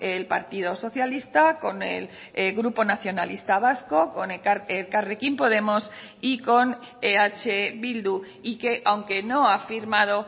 el partido socialista con el grupo nacionalista vasco con elkarrekin podemos y con eh bildu y que aunque no ha firmado